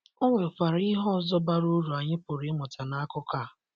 Ọ nwekwara ihe ọzọ bara ụrụ anyị pụrụ ịmụta n’akụkọ a.